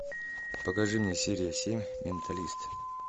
покажи мне серия семь менталист